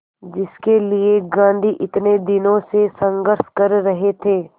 जिसके लिए गांधी इतने दिनों से संघर्ष कर रहे थे